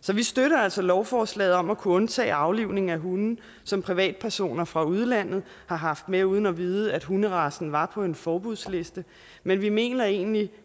så vi støtter altså lovforslaget om at kunne undtage aflivning af hunde som privatpersoner fra udlandet har haft med uden at vide at hunderacen var på en forbudsliste men vi mener egentlig